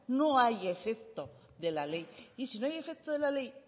no hay efecto de la ley y si no hay efecto de la ley